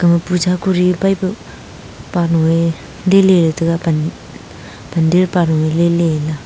puja kori pai pa nu e dile taga pandit panu e.